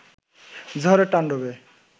ঝড়ের তান্ডবে